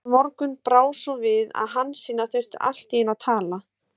En þennan morgun brá svo við að Hansína þurfti allt í einu að tala.